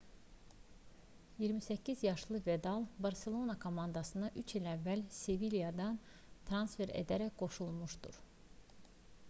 28 yaşlı vidal barselona komandasına 3 il əvvəl sevilyadan transfer edilərək qoşulmuşdu